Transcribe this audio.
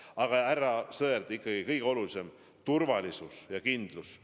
Aga, härra Sõerd, ikkagi kõige olulisem: turvalisus ja kindlus.